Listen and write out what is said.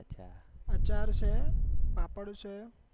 આચાર છે પાપડ છે